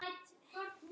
Elsku besta amma Sigga.